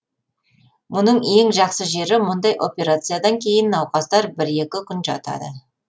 мұның ең жақсы жері мұндай операциядан кейін науқастар бір екі күн жатады